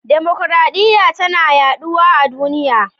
Dimokuradiyya tana yaduwa a duniya.